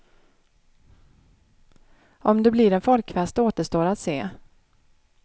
Om det blir en folkfest återstår att se.